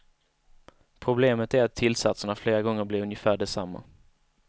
Problemet är att tillsatserna flera gånger blir ungefär desamma.